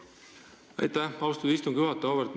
Aitäh, austatud istungi juhataja!